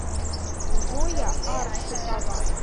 зоя аршикова